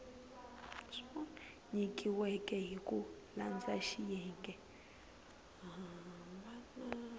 nyikiweke hi ku landza xiyenge